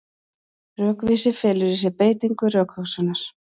Rökvísi felur í sér beitingu rökhugsunar.